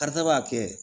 Karisa b'a kɛ